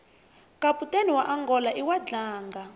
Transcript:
kaputeni waangola iwadlanga